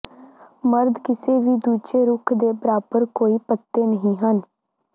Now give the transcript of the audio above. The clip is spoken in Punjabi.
ਮਰਦ ਕਿਸੇ ਵੀ ਦੂਜੇ ਰੁੱਖ ਦੇ ਬਰਾਬਰ ਕੋਈ ਪੱਤੇ ਨਹੀਂ ਹਨ